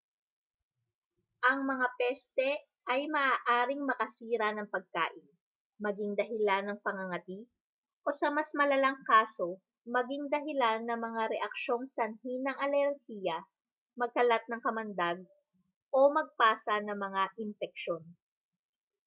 ang mga peste ay maaaring makasira ng pagkain maging dahilan ng pangangati o sa mas malalang kaso maging dahilan ng mga reaksyong sanhi ng alerhiya magkalat ng kamandag o magpasa ng mga impeksyon